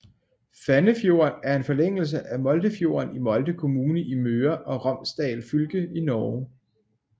Fannefjorden er en forlængelse af Moldefjorden i Molde kommune i Møre og Romsdal fylke i Norge